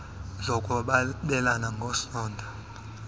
zokwabelana ng esondo